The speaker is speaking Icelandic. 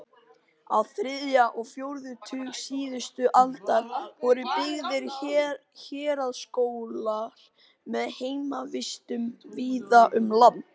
Á þriðja og fjórða tug síðustu aldar voru byggðir héraðsskólar með heimavistum víða um land.